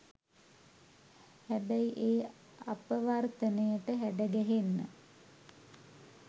හැබැයි ඒ අපවර්තනයට හැඩගැහෙන්න